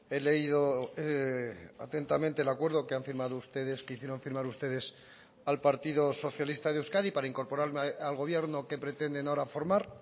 he leído atentamente el acuerdo que han firmado ustedes que hicieron firmar ustedes al partido socialista de euskadi para incorporar al gobierno que pretenden ahora formar